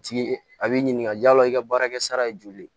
Tigi a b'i ɲininka yala i ka baarakɛ sara ye joli ye